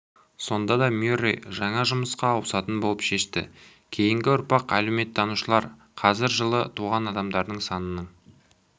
сонда да мюррей жаңа жұмысқа ауысатын болып шешті кейінгі ұрпақ әлеуметтанушылар қазір жылы туған адамдардың санының